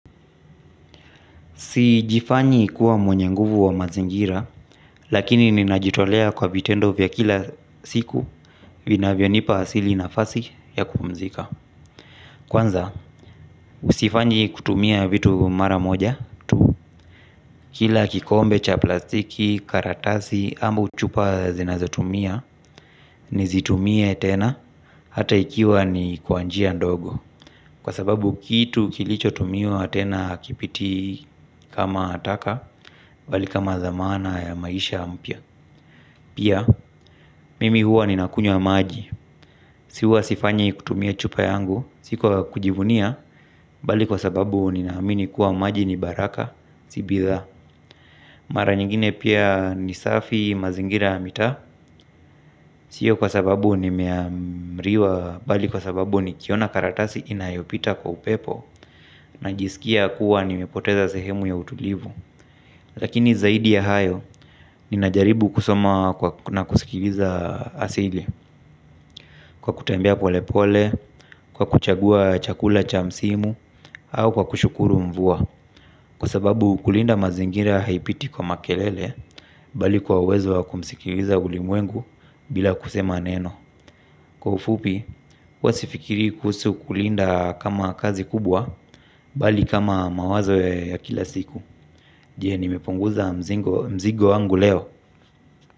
Sijifanyi kuwa mwenye nguvu wa mazingira, lakini ninajitolea kwa vitendo vya kila siku vinavyonipa asili nafasi ya kupumzika. Kwanza, sifanyi kutumia vitu mara moja, kila kikombe cha plastiki, karatasi, ama chupa zinazotumia, nizitumie tena, hata ikiwa ni kwa njia ndogo. Kwa sababu kitu kilichotumiwa tena hakipiti kama taka, bali kama dhamana ya maisha mpya. Pia, mimi huwa ninakunywa maji. Si huwa sifanyi kutumia chupa yangu. Si kwa kujivunia bali kwa sababu ninaamini kuwa maji ni baraka. Si bidhaa. Mara nyingine pia ni safi mazingira ya mitaa. Sio kwa sababu nimeamriwa bali kwa sababu nikiona karatasi inayopita kwa upepo najisikia kuwa nimepoteza sehemu ya utulivu. Lakini zaidi ya hayo ninajaribu kusoma kwa kuna kusikiliza asili. Kwa kutembea polepole, kwa kuchagua chakula cha msimu, au kwa kushukuru mvua. Kwa sababu kulinda mazingira haipiti kwa makelele, bali kwa uwezo wa kumsikiliza ulimwengu bila kusema neno. Kwa ufupi, huwa sifikiri kuhusu kulinda kama kazi kubwa, bali kama mawazo ya kila siku. Je, nimepunguza mzigo wangu leo.